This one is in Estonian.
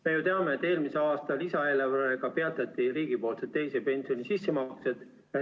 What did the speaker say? Me ju teame, et eelmise aasta lisaeelarvega peatati riigipoolsed teise pensionisambasse tehtavad sissemaksed.